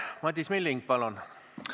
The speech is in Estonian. Madis Milling, palun!